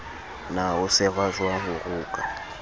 na ho sehwajwang ho rokwa